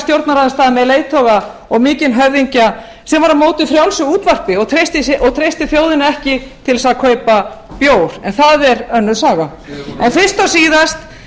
stjórnarandstaða með leiðtoga og mikinn höfðingja sem var á móti frjálsu útvarpi og treysti þjóðinni ekki til að kaupa bjór en það er önnur saga en fyrst og síðast